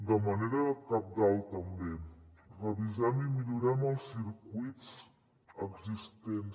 de manera cabdal també revisem i millorem els circuits existents